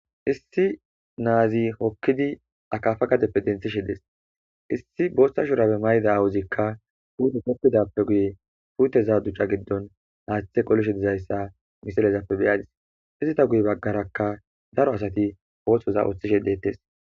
Issi nazi hokidi akafa gadefe denthishe des issi botha shurabe mayida awozika pute tokidape guye puteza duca gidon hathe qolishe dizaysa haysa misilezape beyas izeta guye bagaraka daro asati othoza othish detes